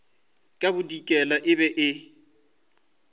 ka bodikela e be e